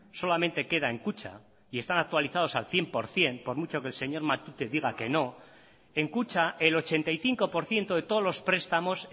solamente queda en kutxa y están actualizados al cien por ciento por mucho que el señor matute diga que no en kutxa el ochenta y cinco por ciento de todos los prestamos